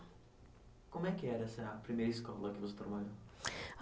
Como é que era essa primeira escola que você trabalhou?